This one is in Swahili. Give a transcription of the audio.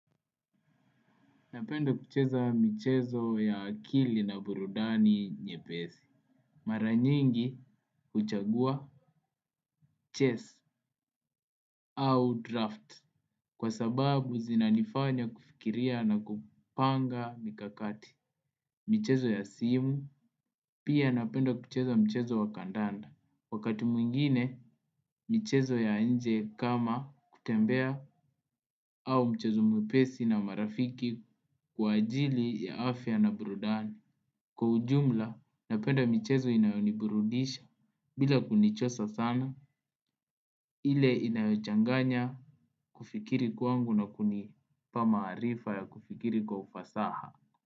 Napenda kucheza michezo ya akili na burudani nyepesi. Mara nyingi huchagua chess au draft. Kwa sababu zinanifanya kufikiria na kupanga mikakati. Michezo ya simu, pia napenda kucheza mchezo wa kandanda. Wakati mwingine, michezo ya nje kama kutembea au mchezo mwepesi na marafiki kwa ajili ya afya na burudani. Kwa ujumla, napenda michezo inayoniburudisha bila kunichosa sana ile inayochanganya kufikiri kwangu na kunipa maarifa ya kufikiri kwa ufasaha.